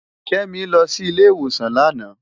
Kemi lò si ile iwósán làná